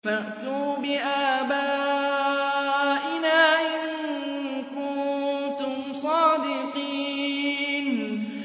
فَأْتُوا بِآبَائِنَا إِن كُنتُمْ صَادِقِينَ